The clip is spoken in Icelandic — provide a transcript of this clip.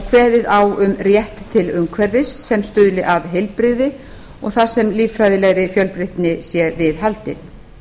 kveðið á um rétt til umhverfis sem stuðli að heilbrigði og þar sem líffræðilegri fjölbreytni sé viðhaldið